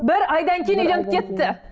бір айдан кейін үйленіп кетті мхм